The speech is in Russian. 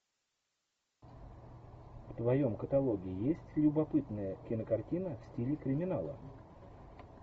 в твоем каталоге есть любопытная кинокартина в стиле криминала